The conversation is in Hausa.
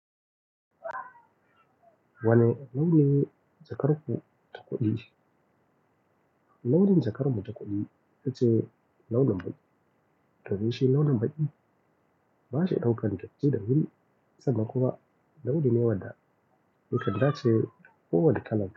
Wane launin jakar ku ta kuɗi? Launin jakar mu takuɗi ita ce launin baki. Domin shi launin baki. Ba shi ɗaukan dati da wuri sannan kuma. Launin ne wadda yakan dace ko wani kalan ka.